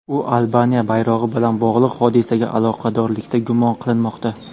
U Albaniya bayrog‘i bilan bog‘liq hodisaga aloqadorlikda gumon qilinmoqda.